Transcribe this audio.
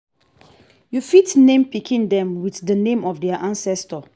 you fit name pikin dem with di name of their ancestor